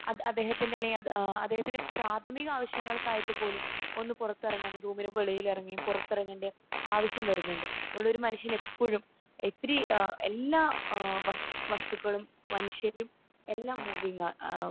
അദ്ദേഹത്തിന്റെ അല്ലെങ്കിൽ അദ്ദേഹത്തിന്റെ പ്രാഥമിക ആവശ്യങ്ങൾക്കായിട്ട് പോലും ഒന്ന് പുറത്തിറങ്ങിയെങ്കിലോ റൂമിന്റെ വെളിയിലിറങ്ങി പുറത്തിറങ്ങണ്ട ആവശ്യം വരുന്നുണ്ട്. അതുകൊണ്ട് ഒരു മനുഷ്യൻ എപ്പോഴും എത്രി എല്ലാ എഹ് വസ്തുക്കളും മനുഷ്യരും എല്ലാം മൂവിങ്ങ ഏഹ്